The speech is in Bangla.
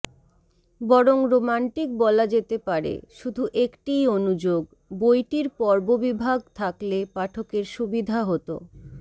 বরং রোম্যান্টিক বলা যেতে পারে শুধু একটিই অনুযোগ বইটির পর্ববিভাগ থাকলে পাঠকের সুবিধা হত